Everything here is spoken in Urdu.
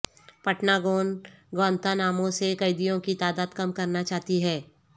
پنٹا گون گوانتا نامو سے قیدیوں کی تعداد کم کرنا چاہتی ہے